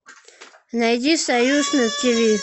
найди союз на тиви